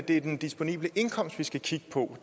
det er den disponible indkomst vi skal kigge på